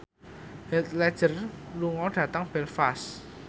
Heath Ledger lunga dhateng Belfast